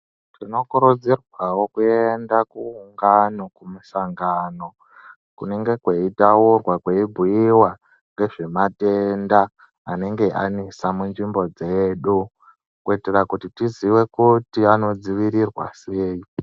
Tinokurudzirwawo kuenda kuungano kumusangano kunenge kweitaurwa kweibhuiwa ngezvematenda anenge anesa munzvimbo dzedu kuitira kuti tizive kuti anodzivirirwa sei.